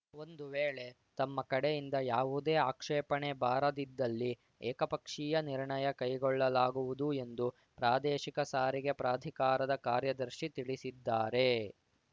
ಒಂದು ವೇಳೆ ತಮ್ಮ ಕಡೆಯಿಂದ ಯಾವುದೇ ಆಕ್ಷೇಪಣೆ ಬಾರದಿದ್ದಲ್ಲಿ ಏಕಪಕ್ಷೀಯ ನಿರ್ಣಯ ಕೈಗೊಳ್ಳಲಾಗುವುದು ಎಂದು ಪ್ರಾದೇಶಿಕ ಸಾರಿಗೆ ಪ್ರಾಧಿಕಾರದ ಕಾರ್ಯದರ್ಶಿ ತಿಳಿಸಿದ್ದಾರೆ